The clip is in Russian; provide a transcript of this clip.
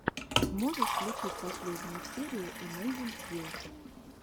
можешь включить последнюю серию эмэйзинг фил